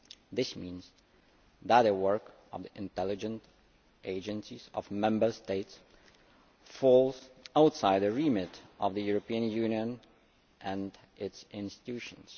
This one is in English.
This means that the work of intelligence agencies of Member States falls outside the remit of the European Union and its institutions.